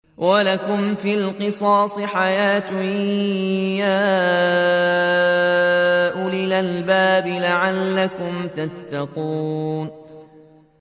وَلَكُمْ فِي الْقِصَاصِ حَيَاةٌ يَا أُولِي الْأَلْبَابِ لَعَلَّكُمْ تَتَّقُونَ